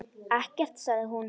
Ekkert, sagði hún.